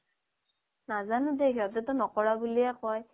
নাজানো দেই হিহঁতে তো নকৰা বুলিয়ে কয়